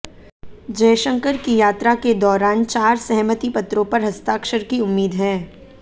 जयशंकर की यात्रा के दौरान चार सहमति पत्रों पर हस्ताक्षर की उम्मीद है